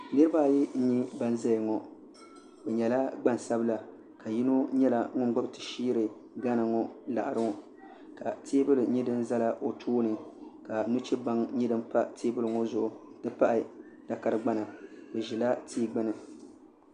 niriba ayi n-nyɛ ban ʒiya ŋɔ bɛ nyɛla gbaŋ' sabila yino nyɛla ŋun gbubi ti shiri Gana ŋɔ laɣiri ŋɔ ka teebuli nyɛ din zala o tooni ka nuchebaŋ nyɛ din pa teebuli ŋɔ zuɣu n-ti pahi takara gbana bɛ ʒila tia gbunni.